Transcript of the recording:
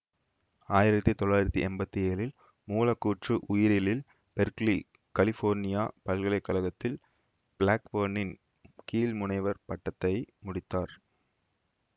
ஆயிரத்தி தொள்ளாயிரத்தி எம்பத்தி ஏழில் மூலக்கூற்று உயிரியலில் பெர்க்லி கலிபோர்னியா பல்கலை கழகத்தில் பிளாக்பேர்னின் கீழ் முனைவர் பட்டத்தை முடித்தார்